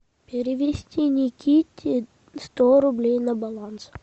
перевести никите сто рублей на баланс